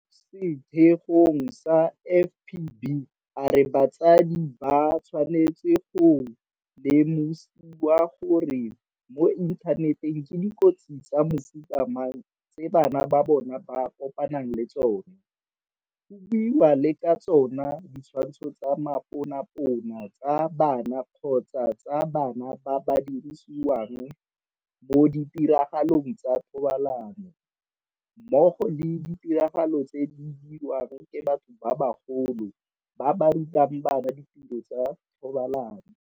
mo setheong sa FPB a re batsadi ba tshwanetse go lemosiwa gore mo inthaneteng ke dikotsi tsa mofuta mang tse bana ba bona ba kopanang le tsona, go buiwang le ka tsona ditshwantsho tsa maponapona tsa bana kgotsa tsa bana ba ba dirisiwang mo ditiragalong tsa thobalano, mmogo le ditiragalo tse di dirwang ke batho ba bagolo ba ba rutang bana ditiro tsa thobalano.